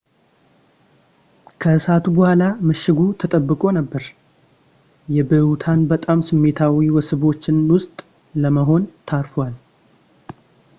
ከእሳቱ በኋላ ምሽጉ ተጠብቆ ነበር የብሁታን በጣም ስሜታዊ መስህቦች ውስጥ ለመሆን ተርፏል